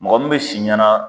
Mɔgɔ min be si ɲɛnaa